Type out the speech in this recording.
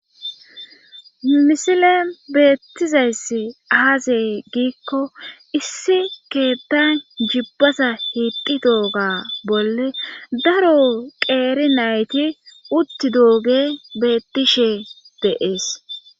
misile beettizayss aazey giikko issi keettan jibbasa hiitidooga bolle daro qeeri nayti utti dooge beettishe deees